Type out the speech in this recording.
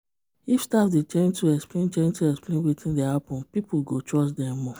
if staff dey gentle explain gentle explain wetin dey happen people go trust dem more.